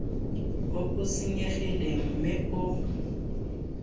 o o senyegileng mme o